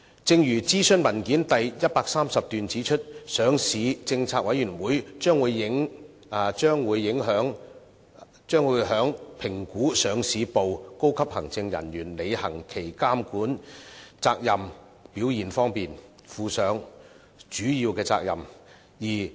正如諮詢文件第130段指出，上市政策委員會將會在評估上市部高級行政人員履行其監管責任的表現方面，負上主要責任。